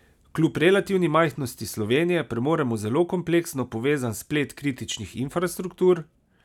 Kljub relativni majhnosti Slovenije premoremo zelo kompleksno povezan splet kritičnih infrastruktur.